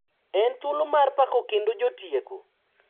En thuolo mar pako kendo jotieko